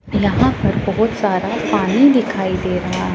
यहां पर बहोत सारा पानी दिखाई दे रहा--